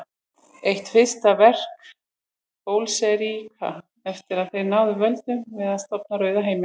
Eitt fyrsta verk Bolsévíka eftir að þeir náðu völdum var að stofna Rauða herinn.